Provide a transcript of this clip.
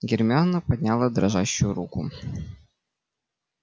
гермиона подняла дрожащую руку